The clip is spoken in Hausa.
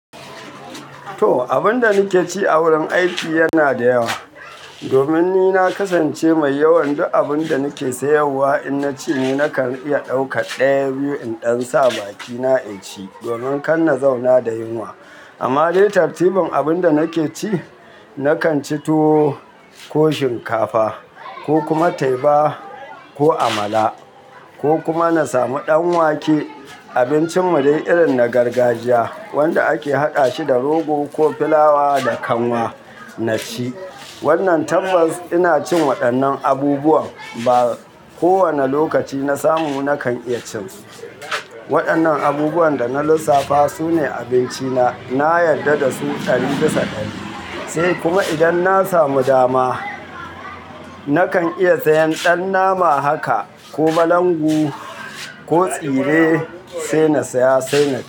To, abun da nike ci a wurin aiki yana da yawa. Domin ni na kasance mai yawan duk abun da nake sayarwa in na ci, ni nakan iya ɗauka ɗaya biyu in ɗan sa a bakina ya ci, domin kan na zauna da yunwa. Amma dai tartibin abin da nake ci, nakan ci tuwo, ko shinkafa, ko kuma taiba, ko amala, ko kuma na samu ɗan wake. Abincin mu dai irin na gargajiya, wanda ake haɗa shi da rogo, ko filawa da kanwa na ci. Wannan tabbas ina cin waɗannan abubuwan. Ba kowane lokaci na samu nakan iya cin su. Waɗannan abubuwan da na lissafa su ne abinci na. Na yarda da su ɗari bisa ɗari. Sai kuma idan na samu dama, nakan iya sayan ɗan nama haka, ko balangu, ko tsire sai na saya sai na ci.